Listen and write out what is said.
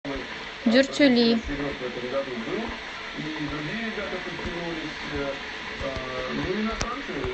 дюртюли